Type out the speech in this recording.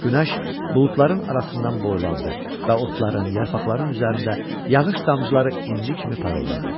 Günəş buludların arasından boylandı və otların, yarpaqların üzərində yağış damcıları inci kimi parıldadı.